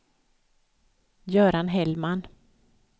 Göran Hellman